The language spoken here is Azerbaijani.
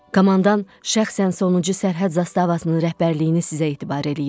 Komandan şəxsən sonuncu sərhəd zastavasının rəhbərliyini sizə etibar eləyir.